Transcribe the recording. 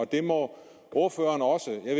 det må ordføreren også jeg